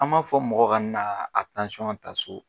An b'a fɔ mɔgɔ ka n naa a ta so